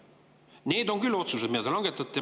Need on otsused, mida te küll langetate.